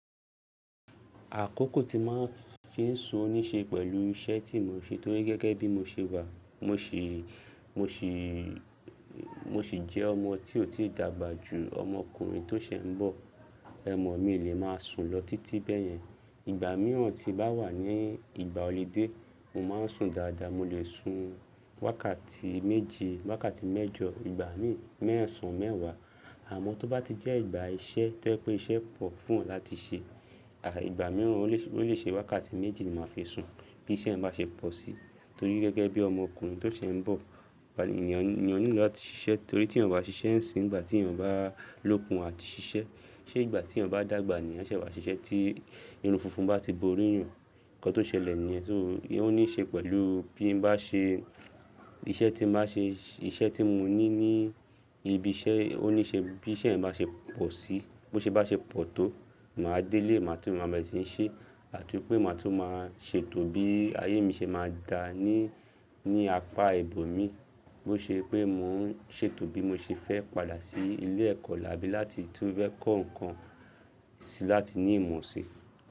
Àkókò tí màá fi ń sun ní ṣe pẹ̀lú iṣẹ́ tí mo ń ṣe torí gẹ́gẹ́ bí mo ṣe wà, mo sì jẹ́ ọmọ tí ò tí dàgbà jù ọmọ ọkùnrin tó sè ń bọ̀. Ẹ̀ mọ̀ mí lè máa sùn lọ títí bẹ́yẹn. Ìgbà mìíràn tí bá wà ní ìgbà ọlidé, mò máa ń sùn dáadáa. Mo lè sun wákàtí méje, wákàtí mẹ́jọ, ìgbà míì mẹ́sàn mẹ́wàá. Àmọ́ tó bá ti jẹ́ ìgbà iṣẹ́ tó jẹ pé iṣẹ́ pọ̀ fún èyan láti ṣe, ìgbà mìíràn ó lè ṣe wákàtí méji ni màá fi sùn bí iṣẹ́ ẹ̀ bá ṣe pọ̀ sí. Torí gẹ́gẹ́ bí ọmọ ọkùnrin tó ṣe ń bọ̀, ènìyàn nílò láti ṣiṣẹ́ torí tí ènìyàn bá ṣiṣẹ́ ń sìn, ìgbà tí ènìyàn bá lókun àti ṣiṣẹ́, ṣé ìgbà tí ènìyàn bá dàgbà ni ẹ́ ṣẹ̀ wá ṣiṣẹ́ tí irun funfun bá ti bo orí ènìyàn. Ǹkan tó ṣẹlẹ̀ ní yẹ́n. So o ní ṣe pẹ̀lú bí n bá ṣe, iṣẹ́ tí ba ṣe, iṣẹ́ tí mo ní ní ibi iṣẹ́ ó ní ṣe bí iṣẹ́ yen bá ṣe pọ̀ sí, bó ṣe bá ṣe pọ̀ tó, màá délé màá tún maa bere ṣi ni ṣe àti pé màá tún maa ṣe tò bí ayé mi ṣe máa dá ní, ní apá ibo mi. Bó ṣe pé mò ń ṣe tò bí mo ṣe fẹ́ padà sí ilé ẹ̀kọ́ abi láti tun fẹ́ kọ́ nǹkan sí láti ní ìmọ̀ ṣi.